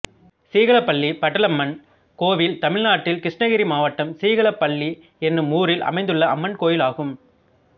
சீகலப் பள்ளி பட்டாளம்மன் கோயில் தமிழ்நாட்டில் கிருஷ்ணகிரி மாவட்டம் சீகலப் பள்ளி என்னும் ஊரில் அமைந்துள்ள அம்மன் கோயிலாகும்